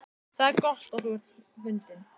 Það er gott að þú ert fundinn.